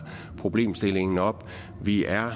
problemstillingen op vi er og